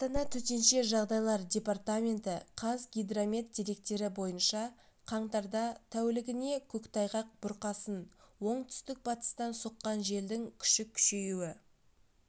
астана төтенше жағдайлар департаменті қазгидромет деректері бойынша қаңтарда тәулігіне көктайғақ бұрқасын оңтүстік-батыстан соққан желдің күші күшеюі